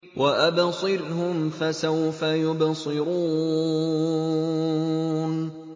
وَأَبْصِرْهُمْ فَسَوْفَ يُبْصِرُونَ